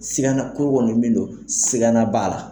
Sigana ko kɔni min don sigana b'a la.